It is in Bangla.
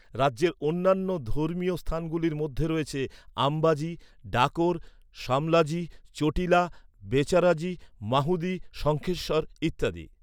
রাজ্যের অন্যান্য ধর্মীয় স্থানগুলির মধ্যে রয়েছে আম্বাজি, ডাকোর, শামলাজি, চোটিলা, বেচারাজি, মাহুদি, শঙ্খেশ্বর ইত্যাদি।